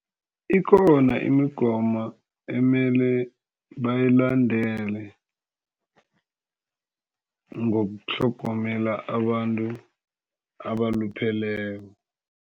Ikhona imigomo ekumele bayilandele ngokutlhogomela abantu abalupheleko.